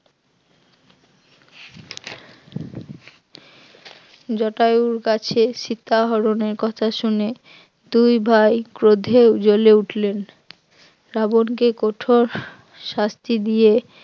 জটায়ুর কাছে সীতাহরণের কথা শুনে দুই ভাই ক্রোধে জ্বলে উঠলেন, রাবণকে কঠোর শাস্তি দিয়ে